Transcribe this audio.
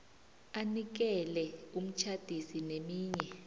anikele umtjhadisi neminye